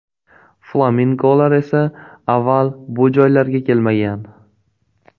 Flamingolar esa avval bu joylarga kelmagan.